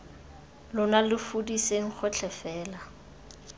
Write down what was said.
lona lo fudiseng gotlhe fela